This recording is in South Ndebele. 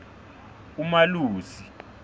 umalusi